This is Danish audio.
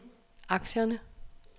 aktierne